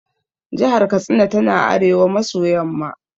Jahar Katsina tana arewa maso yamma ne.